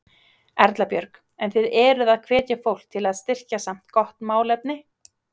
Erla Björg: En þið eruð að hvetja fólk til að styrkja samt gott málefni?